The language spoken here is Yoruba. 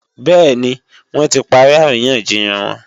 Bẹ́ẹ̀ni, wọ́n ti parí àríyànjiyàn wọn